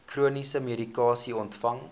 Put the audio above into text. chroniese medikasie ontvang